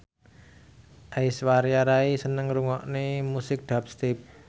Aishwarya Rai seneng ngrungokne musik dubstep